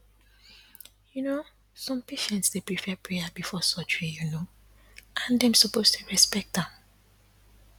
you know some patients dey prefer prayer before surgery you know and dem suppose dey respect am